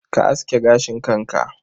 Ka aske gashin kanka.